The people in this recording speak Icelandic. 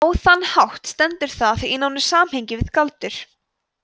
á þann hátt stendur það í nánu samhengi við galdur